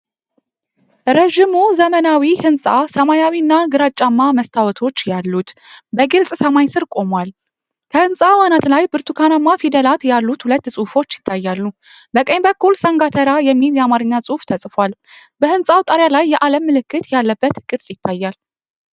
ረዥሙ ዘመናዊ ሕንጻ ሰማያዊና ግራጫማ መስታወቶች ያሉት፣ በግልጽ ሰማይ ስር ቆሟል። ከሕንጻው አናት ላይ ብርቱካናማ ፊደላት ያሉት ሁለት ጽሑፎች ይታያሉ። በቀኝ በኩል ሰንጋተራ የሚል የአማርኛ ጽሑፍ ተጽፏል። በሕንጻው ጣሪያ ላይ የዓለም ምልክት ያለበት ቅርጽ ይታያል።